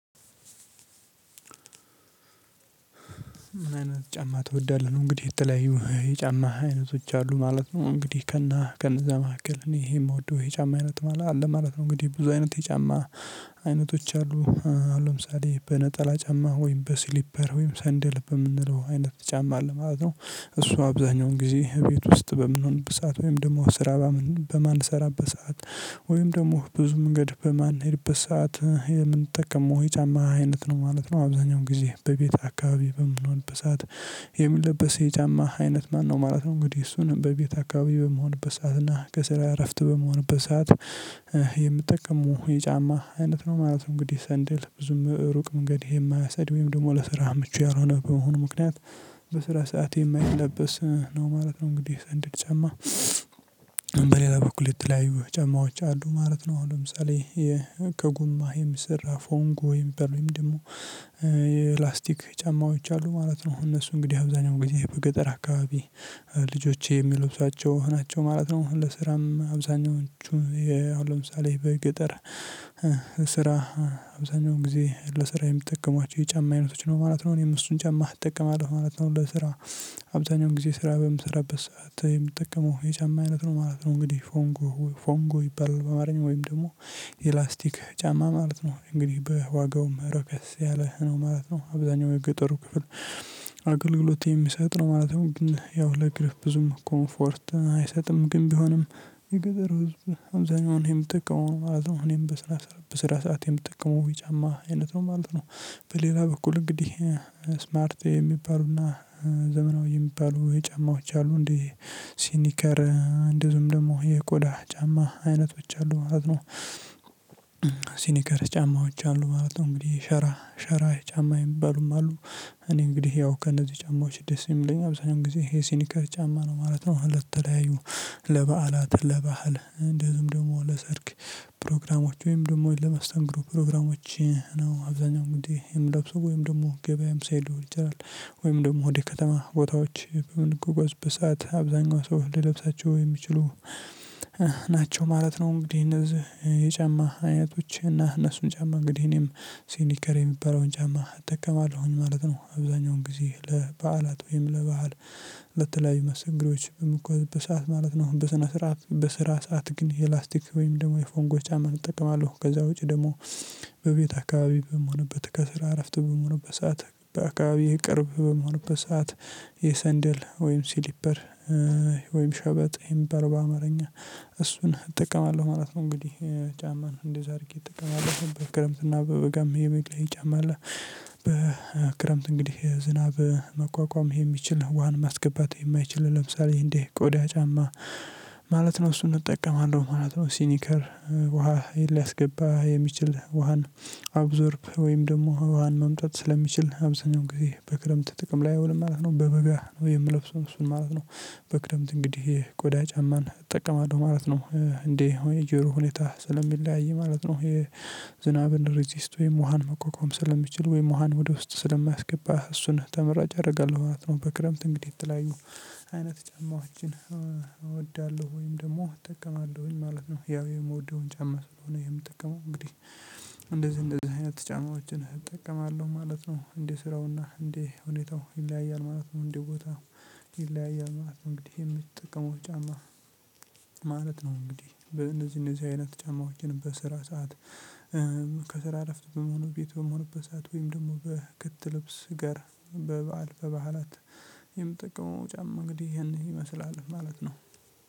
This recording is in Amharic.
ምን አይነት ጫማ ትወዳለህ ነው? እንግዲህ የተለያዩ የጫማ አይነቶች አሉ ማለት ነው እንግዲህ ከነ ከነዛ መካከል እኔ ይሄ የምወደው የጫማ አይነት ማለት አለ ማለት ነው። እንግዲህ ብዙ አይነት የጫማ አይነቶች አሉ። ለምሳሌ በነጠላ ጫማ ወይም በስሊፐር ወይም ሰንደል በምንለው አይነት ጫማ አለ ማለት ነው። እሱ አብዛኛውን ጊዜ ቤት ውስጥ በምንሆንበት ሰዓት ወይም ደግሞ ስራ በማን በማልሰራበት ሰዓት ወይም ደግሞ ብዙ መንገድ በማንሄድበት ሰዓት የምንጠቀመው የጫማ አይነት ነው ማለት ነው። አብዛኛው ጊዜ በቤት አካባቢ በምንሆንበት ሰዓት የሚለበስ የጫማ አይነት ማነው ማለት ነው? እንግዲህ እሱን በቤት አካባቢ በምሆንበት ሰዓት እና ከስራ እረፍት በምሆንበት ሰዓት የምጠቀመው የጫማ አይነት ነው ማለት ነው። እንግዲህ ሰንደል ብዙም ሩቅ መንገድ ይሄ የማያሰድበው ደግሞ ለስራ ምቹ ያልሆነ በመሆኑ ምክንያት በስራ ሰዓት የማይለበስ ነው ማለት ነው። እንግዲህ ሰንደል ጨማ በሌላ በኩል የተለያዩ ጨማዎች አሉ ማለት ነው። አሁን ለምሳሌ ከጉማሄም ስራ ፎንጎሄም በሉኝም ደግሞ የፕላስቲክ ጫማዎች አሉ ማለት ነው። እነሱ እንግዲህ አብዛኛው ጊዜ በገጠር አካባቢ ልጆቼ የሚለብሷቸው ናቸው ማለት ነው። ለስራም አብዛኞቹ የ አሁን ለምሳሌ በገጠር ስራ አብዛኛው ጊዜ ለስራ የምጠቀሟቸው የጫማ አይነቶች ነው ማለት ነው። እኔም እሱን ጫማ እጠቀማለሁ ማለት ነው ለስራ አብዛኛውን ጊዜ ስራ በምሰራበት ሰዓት የምጠቀመው የጫማ አይነት ነው ማለት ነው። እንግዲህ ፎንጎ ፎንጎ ይባላል በአማርኛ ወይም ደግሞ የላስቲክ ጫማ ማለት ነው እንግዲህ በዋጋውም ረከስ ያለህ ነው ማለት ነው። አብዛኛው የገጠሩ ክፍል አገልግሎት የሚሰጥ ነው ማለት ነው። ግን ያው ለእግር ብዙም ኮምፎርት አይሰጥም ግን ቢሆንም የገጠር ህዝብ አብዛኛውን የሚጠቀመው ማለት ነው። እኔም በስራ ሰዓት የምጠቀመው የጫማ አይነት ነው ማለት ነው። በሌላ በኩል እንግዲህ ስማርት የሚባሉና ዘመናዊ የሚባሉ የጨማዎች አሉ እንዴ ሲኒከር እንደውም ደግሞ የቆዳ ጫማ አይነቶች አሉ ማለት ነው። ሲኒከር ጫማዎች አሉ ማለት ነው። እንግዲህ ሸራ ሸራ ጫማ የሚባሉም አሉ። እኔ እንግዲህ ያው ከነዚህ ጫማዎች ደስ የሚለኝ አብዛኛው ጊዜ ይሄ ሲኒከር ጫማ ነው ማለት ነው። ለተለያዩ ለበዓላት ለባህል እንደዚሁም ደግሞ ለሰርግ ፕሮግራሞች ወይም ደግሞ ለመስተንግዶ ፕሮግራሞች ነው አብዛኛው እንግዲህ የምለብሰው ወይም ደግሞ ገበያም ስሄድ ሊሆን ይችላል ወይም ደግሞ ወደ ከተማ ቦታዎች በምንጓጓዝበት ሰዓት አብዛኛው ሰው ሊለብሳቸው የሚችሉ ናቸው ማለት ነው። እንግዲህ እነዚህ የጫማ አይነቶች እና እነሱን ጫማ እንግዲህ እኔም ሲኒከር የሚባለውን ጫማ እጠቀማለሁኝ ማለት ነው። አብዛኛውን ጊዜ ለበዓላት ወይም ለባህል ለተለያዩ መሰተንግዶዎች በምጓዝበት ሰዓት ማለት ነው። በስነ ስርዓት በስራ ሰዓት ግን የላስቲክ ወይም ደግሞ የፎንጎ ጫማን እጠቀማለሁ ከዛ ውጪ ደግሞ በቤት አካባቢ በምሆንበት ከስራ እረፍት በምሆንበት ሰዓት በአካባቢ ቅርብ በምሆንበት በሰአት የሰንደል ወይም ሲሊፐር ወይም ሸበጥ የሚባለው በአማርኛ እሱን እጠቀማለሁ ማለት ነው። እንግዲህ ጫማን እንደዛ አድርጌ እጠቀማለሁ በክረምትና በበጋም የመግለይ ጫማ አለ። በክረምት እንግዲህ ዝናብ መቋቋም የሚችል ውሃን ማስገባት የማይችል ለምሳሌ እንዴ ቆዳ ጫማ ማለት ነው እሱን እጠቀማለሁ ማለት ነው። ሲኒከር ውሃ ሊያስገባ የሚችል ውሃን አብዞርብ ወይም ደግሞ ውሃን መምጣት ስለሚችል አብዛኛው ጊዜ በክረምት ጥቅም ላይ አይውልም ማለት ነው። በበጋ ነው የምለብሰው እሱን ማለት ነው። በክረምት እንግዲህ ቆዳ ጫማን እጠቀማለሁ ማለት ነው። እንዴ እኔ የጀርሁ ሁኔታ ስለሚለያይ ማለት ነው። የዝናብን ሬዚስት ወይም ውሃን መቋቋም ስለሚችል ወይም ውሃን ወደ ውስጥ ስለማያስገባህ እሱን ተመራጭ አደርጋለሁ ማለት ነው። በክረምት እንግዲህ የተለያዩ አይነት ጫማዎችን እወዳለሁ ወይም ደግሞ እጠቀማለሁኝ ማለት ነው። ያው የምወደውን ጫማ ስለሆነ የምጠቀመው እንግዲህ እንደዚህ እንደዚህ አይነት ጫማዎችን እጠቀማለሁ ማለት ነው። እንዴ ስራውና እንዴ ሁኔታው ይለያያል ማለት ነው። እንዴ ቦታ ይለያያል ማለት ነው። እንግዲህ የምትጠቀሙት ጫማ ማለት ነው? እንግዲህ እነዚህ እነዚህ አይነት ጫማዎችን በስራ ሰዓት ከስራ እረፍት በመሆኑ ቤት በምሆንበት ሰዓት ወይም ደግሞ በክት ልብስ ጋር በበዓል በበዓላት የምጠቀመው ጫማ እንግዲህ ይሄን ይመስላል ማለት ነው